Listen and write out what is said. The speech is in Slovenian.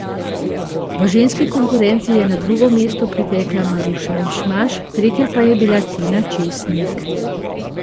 V ženski konkurenci je na drugo mesto pritekla Maruša Mišmaš, tretja pa je bila Tina Česnik.